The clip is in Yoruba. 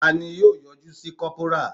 Taani yọ yọjú sí kopara